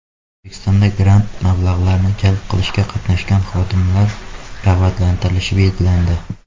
O‘zbekistonda grant mablag‘larini jalb qilishda qatnashgan xodimlar rag‘batlantirilishi belgilandi.